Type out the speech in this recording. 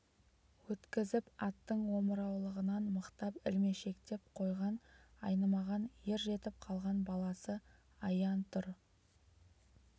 өткізіп аттың омыраулығынан мықтап ілмешектеп қойған айнымаған ер жетіп қалған баласы аян тұр